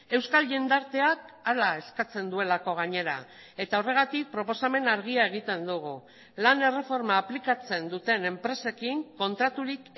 euskal jendarteak hala eskatzen duelako gainera eta horregatik proposamen argia egiten dugu lan erreforma aplikatzen duten enpresekin kontraturik